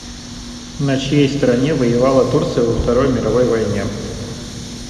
на чьей стороне воевала турция во второй мировой войне